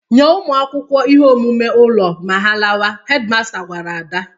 "Nye ụmụ akwụkwọ ihe omume ụlo ma ha lawa," hedi masta gwara Ada.